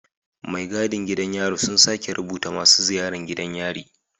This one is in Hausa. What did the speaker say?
Mai gadin gidan yari su suke rubuta masu ziyaran gidan yari